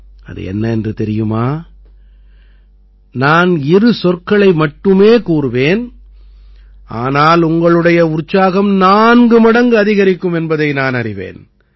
அது என்னவென்று தெரியுமா நான் இரு சொற்களை மட்டுமே கூறுவேன் ஆனால் உங்களுடைய உற்சாகம் நான்கு மடங்கு அதிகரிக்கும் என்பதை நானறிவேன்